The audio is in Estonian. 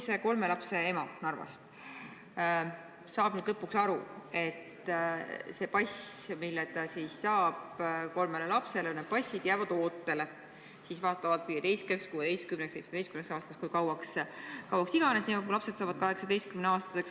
See kolme lapse ema Narvas saab nüüd lõpuks aru, et need passid, mis ta saab oma kolmele lapsele, jäävad ootele vastavalt 15, 16, 17 aastaks – kui kauaks iganes, kuni lapsed saavad 18-aastaseks.